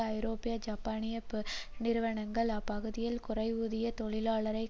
ஐரோப்பிய ஜப்பானிய பெருநிறுவனங்கள் அப்பகுதியின் குறைவூதிய தொழிலாளரை